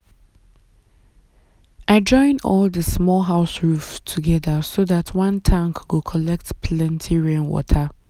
i join all the small house roof together so dat one tank go collect plenty rainwater.